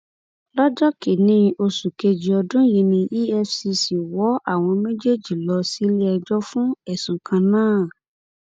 lọjọ kìnínní oṣù kejì ọdún yìí ni efcc wọ àwọn méjèèjì lọ síléẹjọ fún ẹsùn kan náà